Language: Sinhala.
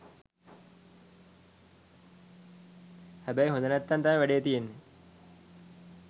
හැබැයි හොද නැත්නම් තමා වැඩේ තියෙන්නේ